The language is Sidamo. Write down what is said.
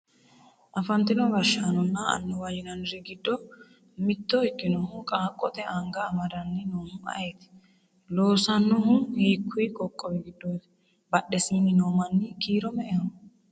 afantino gashshaanonna annuwa yinanniri giddo mitto ikkinohu qaaqqote anga amadanni noohu ayeeti? loosannohu hiikkuyi qoqqowi giddooti? badhesiinni noo manni kiiro me"eho?